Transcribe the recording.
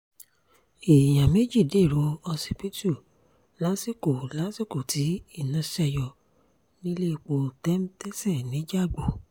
èèyàn méjì dèrò ọsibítù lásìkò lásìkò tí iná ṣe yọ nílẹ̀pọ̀ tẹm tẹsẹ nìjàgbò